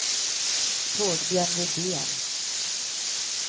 Torbjörn Widén